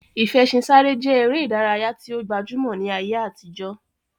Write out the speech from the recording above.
Ìfẹṣinsáré je ere idaraya yi o gbajumo ni aye atijo.